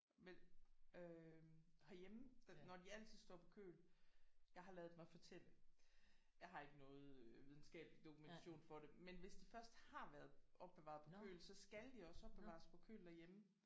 Men øh herhjemme når de altid står på køl jeg har ladet mig fortælle jeg har ikke noget øh videnskabelig dokumentation for det men hvis de først har været opbevaret på køl så skal de også opbevares på køl derhjemme